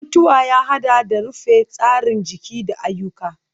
mutuwa ya haɗa da rufe tsarin jiki da ayyuka.